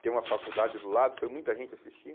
Tem uma faculdade do lado, foi muita gente assistir.